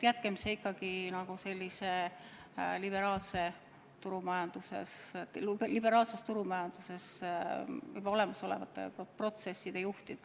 Jätkem see ikkagi liberaalses turumajanduses toimivate protsesside juhtida.